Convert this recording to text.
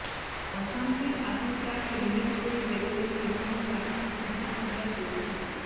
অশান্তির আশঙ্কায় হেলমেট পরে বেরলেন তৃণমূল প্রার্থী সিদ্দিকুল্লা চৌধুরী